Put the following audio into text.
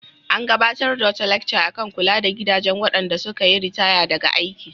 An gabatar da wata lacca kan kula da gidajen waɗanda suka yi ritaya daga aiki.